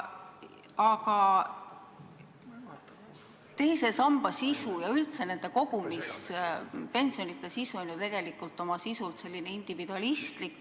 Aga teise samba ja üldse kogumispensionide sisu on ju tegelikult individualistlik.